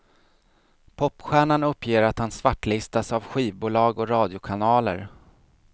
Popstjärnan uppger att han svartlistas av skivbolag och radiokanaler.